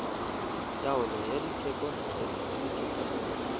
taolo ya dithekontle le dithekisontle